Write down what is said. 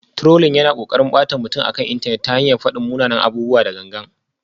Trolling yana ƙoƙarin ɓata mutum akan intanet ta hanyar faɗin munanan abubuwa da gangan.